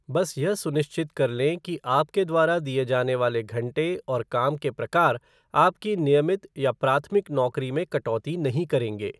बस यह सुनिश्चित कर लें कि आपके द्वारा दिए जाने वाले घंटे और काम के प्रकार आपकी नियमित या प्राथमिक नौकरी में कटौती नहीं करेंगे।